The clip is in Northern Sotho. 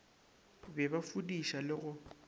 be ba fudiša le go